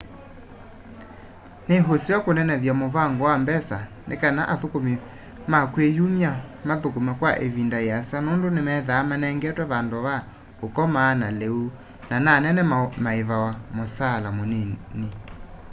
nĩ ũseo kũnenevya mũvango wa mbesa nĩkana athũkũmĩ ma kwĩ yũmya mathũkũme kwa ĩvĩnda yĩasa nũndũ nĩmethaa manengetwe vandũ va ũkoma na leũ na nanĩnĩ maĩvawa mũsaala mũnĩnĩ